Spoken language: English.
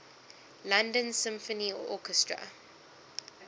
london symphony orchestra